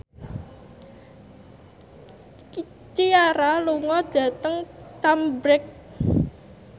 Ciara lunga dhateng Cambridge